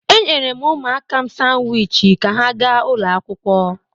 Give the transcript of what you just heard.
E nyerem ụmụaka m sanwịchị ka ha ga ụlọ akwụkwọ.